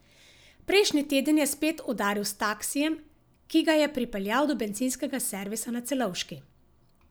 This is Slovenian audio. Prejšnji teden je spet udaril s taksijem, ki ga je pripeljal do bencinskega servisa na Celovški.